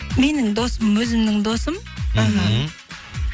менің досым өзімнің досым іхі